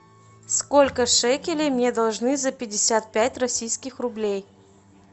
сколько шекелей мне должны за пятьдесят пять российских рублей